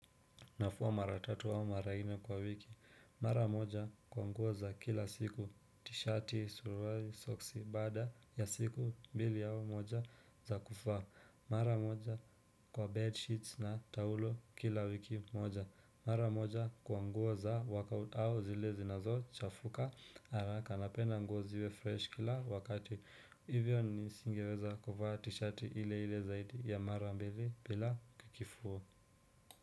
Nafua mara tatu wao mara ine kwa wiki mara moja kwa nguo za kila siku tishati suruari soksi bada ya siku mbili yao moja za kufa mara moja kwa bedsheets na tahulo kila wiki moja mara moja kwa nguo za workout au zile zinazo chafuka alaka anapenda nguo ziwe fresh kila wakati hivyo nisingeweza kuvaa tishati ile ile zaidi ya mara mbili bila kikifua.